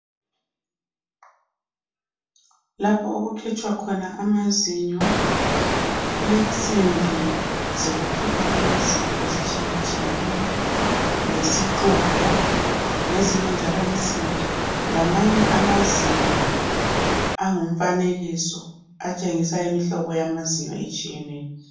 Lapho okukhitshwa khona amazinyo. Kulensimbi zokukhipha ama zinyo ezitshiye tshiyeneyo , lesixubho ,lezinye njalo insimbi, lamanye amazinyo angumfanekiso atshengisa imihlobo yamazinyo etshiyeneyo.